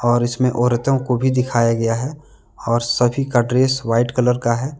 और इसमें औरतों को भी दिखाया गया है और सभी का ड्रेस वाइट कलर का है।